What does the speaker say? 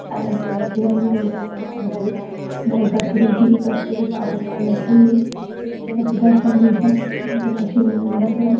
అదేనండి బాంటది గయ్ కట్టుడు గీయ్ కట్టుడు పాపం వాళ్ళకి చాలా సుతారు పనిచేసినట్టే ఉంటది .